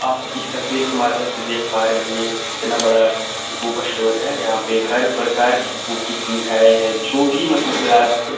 आप इस तस्वीर के माध्यम से देख पा रहे होंगे कितना बड़ा बुक स्टोर है यहां पे हर प्रकार की बुक की सुविधाएं हैं जो भी मतलब क्लास --